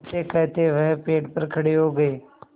कहतेकहते वह पेड़ पर खड़े हो गए